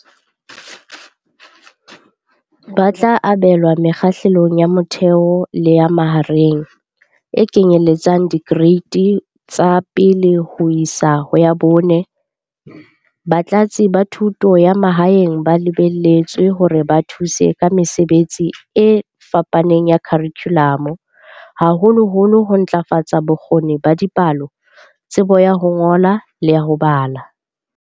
Ba tla abelwa Mekgahlelong ya Motheo le ya Mahareng, e kenyelletsang Dikereiti tsa 1 ho isa 4. Batlatsi ba Thuto ya Ma haeng ba lebelletswe hore ba thuse ka mesebetsi e fapaneng ya kharikhulamo, haholoholo ho ntlafatsa bo kgoni ba dipalo, tsebo ya ho ngola le ya ho bala.